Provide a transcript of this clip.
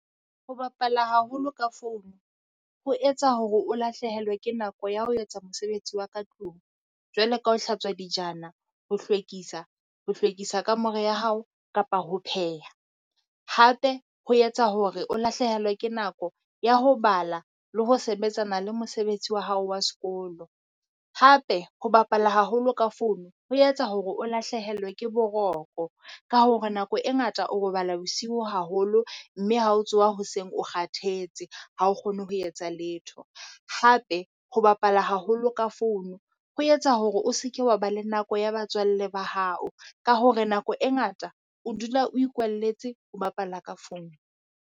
Ho bapala haholo ka founu, ho etsa hore o lahlehelwe ke nako ya ho etsa mosebetsi wa ka tlung. Jwale ka ho hlatswa dijana, ho hlwekisa, ho hlwekisa kamore ya hao kapa ho pheha. Hape, ho etsa hore o lahlehelwe ke nako ya ho bala le ho sebetsana le mosebetsi wa hao wa sekolo. Hape ho bapala haholo ka founu ho etsa hore o lahlehelwe ke boroko. Ka hore nako e ngata o robala bosiu haholo mme ha o tsoha hoseng, o kgathetse ha o kgone ho etsa letho. Hape ho bapala haholo ka founu ho etsa hore o se ke wa ba le nako ya batswalle ba hao ka hore nako e ngata o dula o ikwalletse ho bapala ka founu.